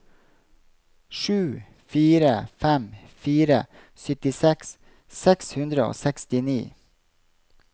sju fire fem fire syttiseks seks hundre og sekstini